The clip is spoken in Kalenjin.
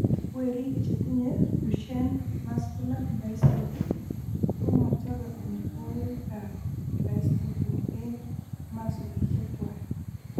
Werik chetinye Duchenne muscular dystrophy ko mo chobe amitwogikab dystrophin eng' masolishek kwai.